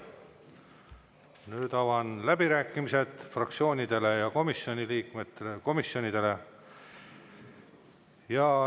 Nüüd avan läbirääkimised fraktsioonidele ja komisjonidele.